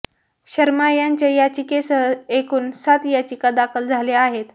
शर्मा यांच्या याचिकेसह एकूण सात याचिका दाखल झाल्या आहेत